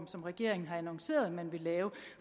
som regeringen har annonceret at man vil lave